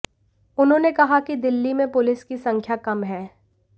उन्होंने कहा कि दिल्ली में पुलिस की संख्या कम है